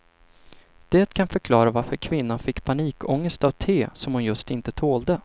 Det kan förklara varför kvinnan fick panikångest av te, som just hon inte tålde.